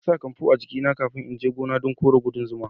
Na sa kanfu a jiki na kafin na je gona dan kore kudan zuma.